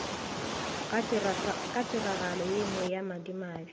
ga tiragalo yenngwe ya madimabe